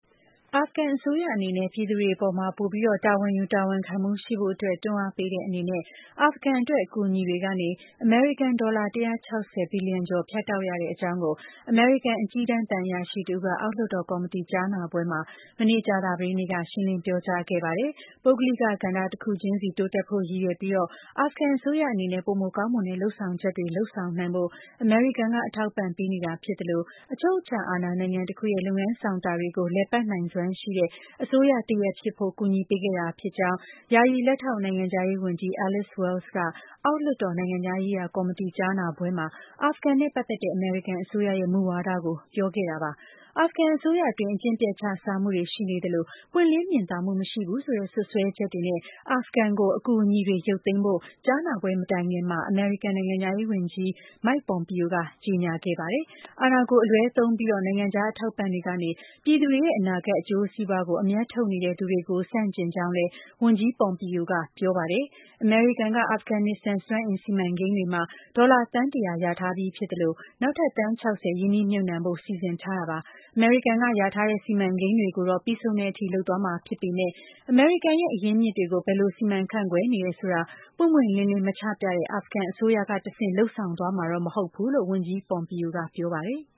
အာဖဂန်အစိုးရ အနေနဲ့ ပြည်သူတွေ အပေါ်ပိုပြီး တာဝန်ယူ၊ တာဝန်ခံမှုရှိဖို့အတွက် တွန်းအားပေးတဲ့အနေနဲ့ အာဖဂန်အတွက် အကူအညီတွေကနေ အမေရိကန်ဒေါ်လာ ၁၆၀ ဘီလီယံကျော် ဖြတ်တောက်ရတဲ့ အကြောင်း ကို အမေရိကန် အကြီးတန်း သံအရာရှိတဦးက အောက်လွှတ်တော် ကော်မတီ ကြားနာပွဲမှာ မနေ့ကြာသပတေးနေ့က ရှင်းလင်းပြောကြားခဲ့ ပါတယ်။ ပုဂ္ဂလိက ကဏ္ဍတခုချင်းတိုးတက်ဖို့ ရည်ရွယ်ပြီး အာဖဂန်အစိုးရ အနေနဲ့ပိုမိုကောင်းမွန်တဲ့ လုပ်ဆောင်ချက်တွေကို လုပ်ဆောင်နိုင်ဖို့ အမေရိကန်က အထောက်အပံ့ပေးနေတာဖြစ်သလို အချုပ်အခြာ အာဏာနိုင်ငံတခုရဲ့ လုပ်ငန်းဆောင်တာတွေကို လည်ပတ်နိုင်စွမ်းရှိတဲ့ အစိုးရတရပ် ဖြစ်ဖို့ အကူအညီပေးခဲ့တာဖြစ်ကြောင်း ယာယီလက်ထောက် နိုင်ငံခြားရေးဝန်ကြီး Alice Wells က အောက်လွှတ်တော် နိုင်ငံခြားရေးရာကော်မတီ ကြားနာပွဲမှာ အာဖဂန်နဲ့ပတ်သက်တဲ့ အမေရိကန်အစိုးရရဲ့ မူဝါဒကို ပြောကြားခဲ့ တာပါ။ အာဖဂန်အစိုးရအတွင်း အကျင့်ပျက်ချစားမှုတွေရှိနေသလို ပွင့်လင်းမြင်သာမှု မရှိဘူးဆိုတဲ့ စွပ်စွဲချက်တွေနဲ့ အာဖဂန်ကို ရန်ပုံငွေ အကူအညီတွေ ရုပ်သိမ်းဖို့ ကြားနာပွဲမတိုင်ခင်မှာ အမေရိကန် နိုင်ငံခြားရေး ဝန်ကြီး Mike Pompeo က ကြေညာခဲ့တာပါ။ အာဏာကို အလွဲသုံးပြီး နိုင်ငံခြားအထောက်အပံ့တွေကနေ ပြည်သူ အနာဂတ် အကျိုးစီးပွါးကို အမြတ်ထုတ်နေတဲ့ သူတွေကို ဆန့်ကျင်ကြောင်းလည်း ဝန်ကြီး Pompeo ကပြောပါတယ်။ အမေရိကန် က အာဖဂန်နစ္စတန် စွမ်းအင် စီမံကိန်းတွေမှာ ဒေါ်လာ သန်း ၁၀၀ လျာထားပြီးဖြစ်သလို နောက်ထပ် သန်း ၆၀ ရင်းနှီးမြှုပ်နှံဖို့ စီစဉ်ထားတာပါ။ အမေရိကန်က လျာထားတဲ့ စီမံကိန်းတွေကို တော့ ပြီးဆုံးတဲ့အထိလုပ်သွားမှာဖြစ်ပေမဲ့ အမေရိကန်ရဲ့ အရင်းအမြစ်တွေကို ဘယ်လို စီမံခန်ု့ခွဲနေတယ်ဆိုတာ ပွင့်ပွင့်လင်းလင်း မချပြတဲ့ အာဖဂန်အစိုးရက တဆင့်လုပ်ဆောင်သွားမှာတော့ မဟုတ်ဘူးလို့ ဝန်ကြီး Pompeo ကပြောပါတယ်။